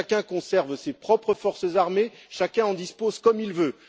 Chacun conserve ses propres forces armées, chacun en dispose comme il veut.